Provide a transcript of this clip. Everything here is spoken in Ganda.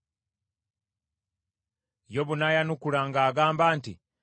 Yobu n’ayanukula ng’agamba nti,